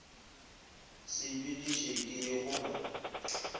sepediše ke ye go ba